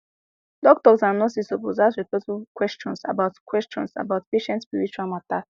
doctors and nurses suppose ask respectful question about question about patient spiritual matter